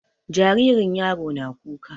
Jaririn yaro na kuka.